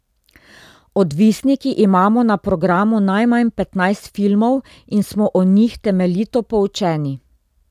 Odvisniki imamo na programu najmanj petnajst filmov in smo o njih temeljito poučeni.